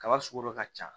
Kaba sugu dɔ ka ca